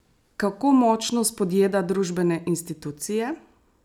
Kako močno spodjeda družbene institucije?